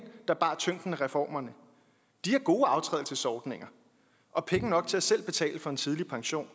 der bar tyngden af reformerne de har gode aftrædelsesordninger og penge nok til selv at betale for en tidlig pension